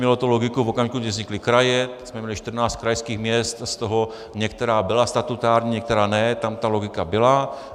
Mělo to logiku v okamžiku, kdy vznikly kraje, měli jsme 14 krajských měst, z toho některá byla statutární, některá ne, tam ta logika byla.